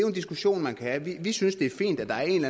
en diskussion man kan have vi synes det er fint at der er en